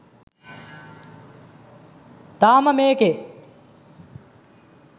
තාම මේකේ